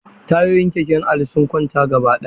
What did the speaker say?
Tayoyin keken Ali sun kwanta gabaɗaya.